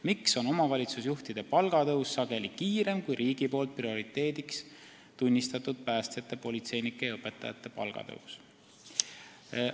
Miks on omavalitsusjuhtide palgatõus sageli kiirem kui riigi poolt prioriteediks tunnistatud päästjate, politseinike ja õpetajate palgatõus?